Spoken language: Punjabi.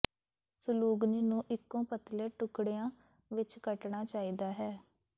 ਸੁਲੂਗਨੀ ਨੂੰ ਇੱਕੋ ਪਤਲੇ ਟੁਕੜਿਆਂ ਵਿੱਚ ਕੱਟਣਾ ਚਾਹੀਦਾ ਹੈ